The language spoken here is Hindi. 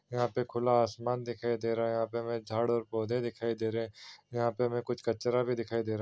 यहाँ पे खुला आसमान दिखाई दे रहा है यहाँ पे हमे झाड़ और पौधे दिखाई दे रहे हैं यहाँ पर हमे कुछ कचरा भी दिखाई दे रहा है।